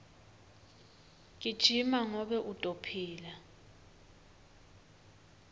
gijima ngobe utophila